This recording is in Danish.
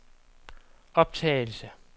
optagelse